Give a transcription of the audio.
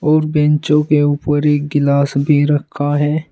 और बैंचो के ऊपर एक गिलास भी रखा है।